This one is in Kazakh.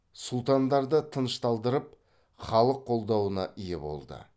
сұлтандарды тынышталдырып халық қолдауына ие болды